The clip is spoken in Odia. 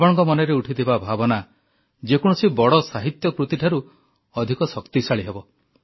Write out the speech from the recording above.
ଆପଣଙ୍କ ମନରେ ଉଠିଥିବା ଭାବନା ଯେ କୌଣସି ବଡ଼ ସାହିତ୍ୟ କୃତିଠାରୁ ଅଧିକ ଶକ୍ତିଶାଳୀ ହେବ